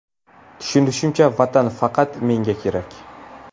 Tushunishimcha, Vatan faqat menga kerak.